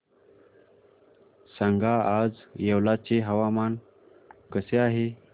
सांगा आज येवला चे हवामान कसे आहे